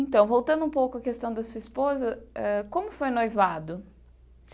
Então, voltando um pouco a questão da sua esposa eh, como foi o noivado?